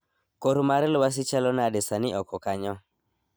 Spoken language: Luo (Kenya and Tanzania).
Kor mar lwasi chalo nade sani oko kanyo